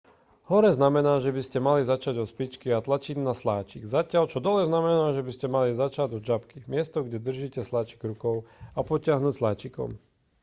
hore znamená že by ste mali začať od špičky a tlačiť na sláčik zatiaľ čo dole znamená že by ste mali začať od žabky miesto kde držíte sláčik rukou a potiahnuť sláčikom